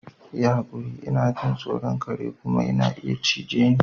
Yi hakuri! Ina jin tsoro, kare ku na iya cije ni.